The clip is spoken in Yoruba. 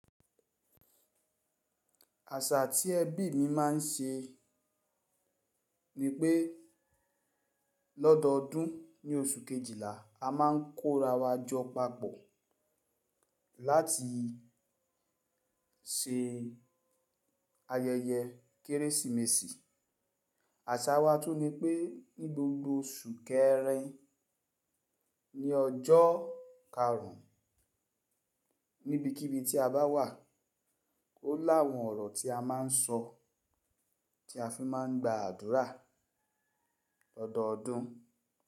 Àṣà tí ẹbí mi máà ń ṣe ni pé lọ́dọọdún ní oṣù Kejìlá, a máa ń kóra wa jọ papọ̀ láti ṣe ayẹyẹ Kérésìmesì. Àṣà wa tún ni pé ní gbogbo oṣù kẹrin ní ọjọ́ karùn-ún níbikíbi tí a bá wà ó láwọn ọ̀rọ̀ tí a máa ń sọ, tí a fi máa ń gba àdúrà lọ́dọọdún.